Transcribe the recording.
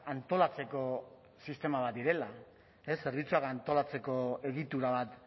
antolatzeko sistema bat direla ez zerbitzua antolatzeko egitura bat